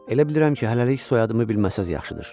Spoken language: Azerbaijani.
Elə bilirəm ki, hələlik soyadımı bilməsəniz yaxşıdır.